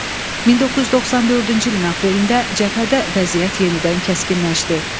1994-cü ilin aprelində cəbhədə vəziyyət yenidən kəskinləşdi.